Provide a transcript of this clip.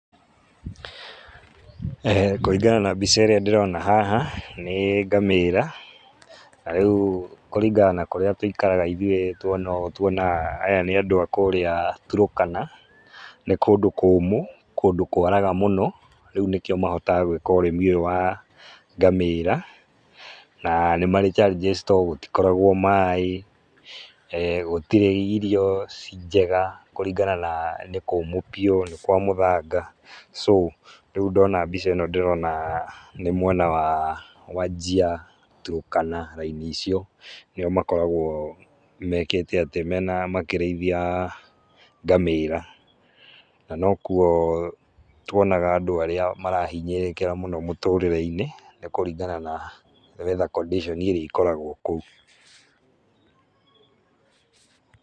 Kũringana na mbica ĩrĩa ndĩrona haha, nĩ ngamĩra na rĩu kũringana na kũrĩa tũikaraga ithuĩ tuona ũũ, tuonaga aya nĩ andũ arĩa Turukana, nĩ kũndũ kũmũ, kũndũ kwaraga mũno rĩu nĩkĩo mahotaga gwĩka ũrĩmi ũyũ wa ngamĩra, na nĩ marĩ challenges tondũ gũtikoragwo maaĩ, gũtirĩ irio ciĩ njega kũringana na nĩ kũmũ biũ na nĩ kwa mũthanga, so, rĩu ndona mbica ĩno ndĩrona nĩ mwena wa Wajir, Turkana raini icio nĩ o makoragwo mekĩte atĩ, mena, makĩrĩithia ngamĩra. Na nokuo wonaga andũ arĩa marahinyĩrĩkĩra mũno mũtũrĩre-inĩ nĩ kũringana na weather condition iria ikoragwo kũu.